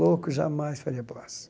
Louco, jamais faria